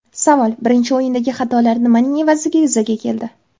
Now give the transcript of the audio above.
Savol: Birinchi o‘yindagi xatolar nimaning evaziga yuzaga keldi?